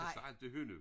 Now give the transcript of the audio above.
Han sagde altid hønnu